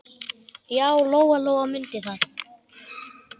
Já, Lóa-Lóa mundi það.